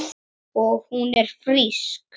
Og hún er frísk.